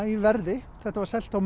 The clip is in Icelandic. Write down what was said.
í verði þetta var selt á